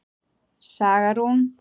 Saga Rún.